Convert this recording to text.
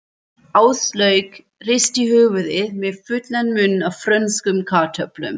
Áslaug hristi höfuðið með fullan munn af frönskum kartöflum.